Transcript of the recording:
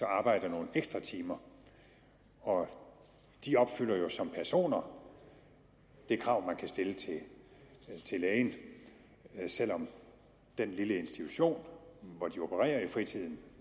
arbejder nogle ekstra timer og de opfylder jo som personer det krav man kan stille til lægen selv om den lille institution hvor de opererer i fritiden